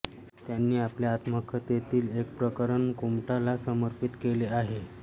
त्यांनी आपल्या आत्मकथे तील एक प्रकरण कुमठा ला समर्पित केले आहे